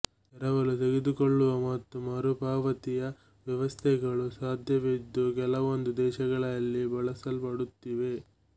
ಎರವಲು ತೆಗೆದುಕೊಳ್ಳುವ ಮತ್ತು ಮರುಪಾವತಿಯ ವ್ಯವಸ್ಥೆಗಳು ಸಾಧ್ಯವಿದ್ದು ಕೆಲವೊಂದು ದೇಶಗಳಲ್ಲಿ ಬಳಸಲ್ಪಡುತ್ತಿವೆ